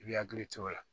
I bi hakili to o la